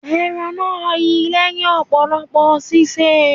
Ẹran náà yi lẹ́hìn ọ̀pọ̀lọpọ̀ sísè.